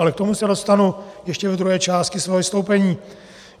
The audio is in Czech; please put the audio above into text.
Ale k tomu se dostanu ještě ve druhé části svého vystoupení.